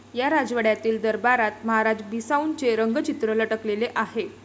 या राजवाड्यातील दरबारात महाराजा बिसाऊंचे रंगचित्र लटकवलेले आहे.